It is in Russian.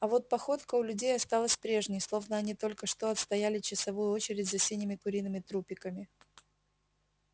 а вот походка у людей осталась прежней словно они только что отстояли часовую очередь за синими куриными трупиками